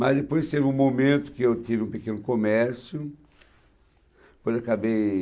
Mas depois teve um momento que eu tive um pequeno comércio, depois acabei...